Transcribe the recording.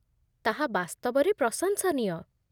ତାହା ବାସ୍ତବରେ ପ୍ରଶଂସନୀୟ।